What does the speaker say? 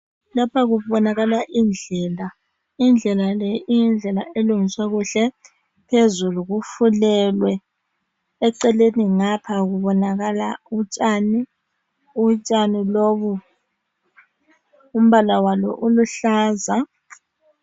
Lapha kubonakala indlela. Indlela le iyindlela elungiswe kuhle. Phezulu kufulelwe. Eceleni ngapha kubonakala utshani. Utshani lobu umbala walo uluhlaza